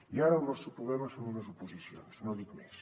i ara el nostre problema són unes oposicions no dic més